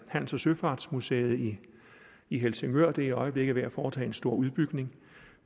handels og søfartsmuseet i i helsingør i øjeblikket er ved at foretage en stor udbygning